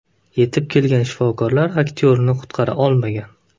Yetib kelgan shifokorlar aktyorni qutqara olmagan.